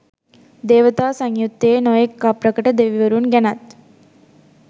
දේවතා සංයුත්තයේ නොයෙක් අප්‍රකට දෙවිවරුන් ගැනත්